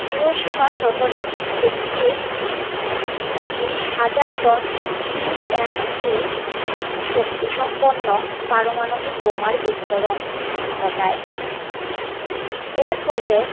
Hiroshima শহরে একটি বিশ হাজার টন টি এন টি শক্তিসম্পন্ন পারমাণবিক বোমার বিস্ফোরণ ঘটায় এর ফলে